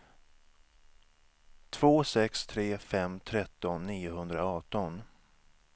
två sex tre fem tretton niohundraarton